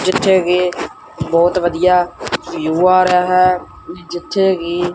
ਜਿੱਥੇ ਵੀ ਬਹੁਤ ਵਧੀਆ ਵਿਊ ਆ ਰਿਹਾ ਹੈ ਜਿੱਥੇ ਵੀ।